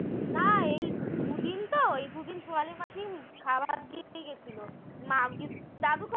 তা এই দুদিন তো এই দুদিন সোনালি মাসি খাবার দিতে গেছিল